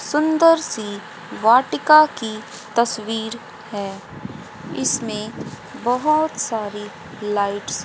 सुंदर सी वाटिका की तस्वीर है इसमें बहोत सारी लाइटस् --